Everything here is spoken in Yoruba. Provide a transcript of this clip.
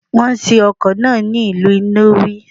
Wọ́n ṣe ọkọ̀ náà ni ìlú Nnewi.